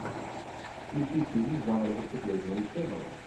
включи фильм жанр выступление ученого